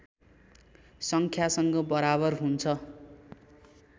सङ्ख्यासँग बराबर हुन्छ